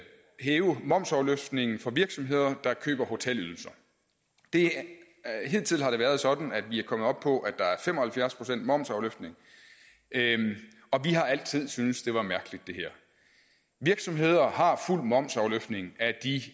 hæve momsafløftningen for virksomheder der køber hotelydelser hidtil har det været sådan at vi er kommet op på at der er fem og halvfjerds procent momsafløftning og vi har altid syntes det var mærkeligt virksomheder har fuld momsafløftning af de